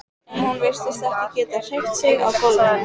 En hún virtist ekki geta hreyft sig á gólfinu.